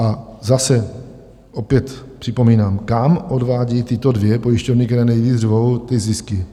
A zase, opět připomínám, kam odvádí tyto dvě pojišťovny, které nejvíc řvou, ty zisky?